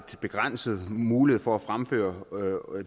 begrænset mulighed for at fremføre